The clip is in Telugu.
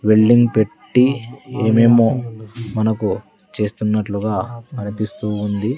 వెల్డింగ్ పెట్టి ఏమేమో మనకు చేస్తున్నట్లుగా అనిపిస్తూ ఉంది.